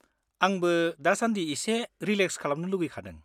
आंबो दासान्दि एसे रिलेक्स खालामनो लुबैखादों।